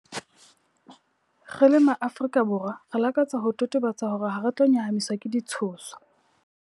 Re le MaAfrika Borwa, re lakatsa ho totobatsa hore hare tlo nyahamiswa ke ditshoso.